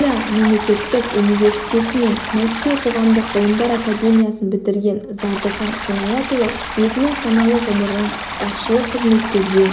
моңғолия мемлекеттік университеті мен мәскеу қоғамдық ғылымдар академиясын бітірген зардыхан қинаятұлы өзінің саналы ғұмырын басшылық қызметтерге